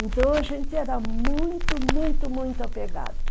Então a gente era muito, muito, muito apegado.